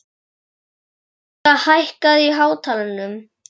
Mariska, hækkaðu í hátalaranum.